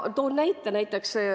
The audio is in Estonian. Toon näite.